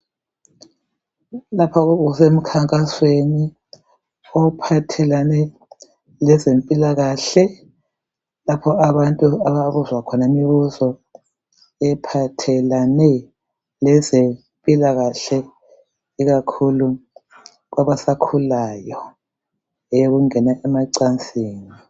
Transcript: Lapha kusemkhankasweni ophathelane kwezempilakahle. Lapha abantu ababuzwa khona imibuzo ephathelane yezempilakahle ikakhulu kwabasakhulayo eyokungena emacansini.